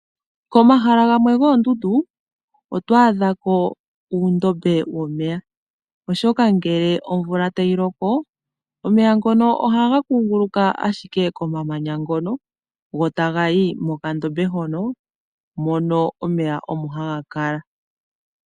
Komahala gamwe goondundu oto adhako uudhiya womeya oshoka ngele omvula tayi loko omeya ngono ohaga kunguluka ashike komamanya ngono go tagayi mokadhiya hono mono omeya omo haga kala.